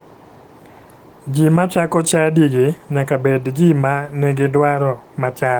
Ji ma chako chadigi nyaka bed ji ma nigi dwaro machal